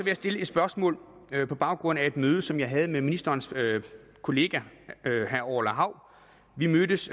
jeg stille et spørgsmål på baggrund af et møde som jeg havde med ministerens kollega herre orla hav vi mødtes